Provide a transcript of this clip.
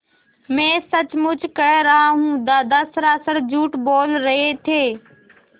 मैं सचमुच कह रहा हूँ दादा सरासर झूठ बोल रहे थे